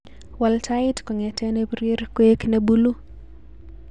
Wal tait kongete nebirir koek mebuluu